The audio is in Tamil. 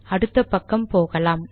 அடுத்த பக்கம் போகலாம்